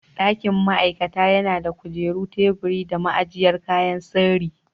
Dakin ma'aikata yana da kujeru, teburi da ma'ajiyar kayan sirri.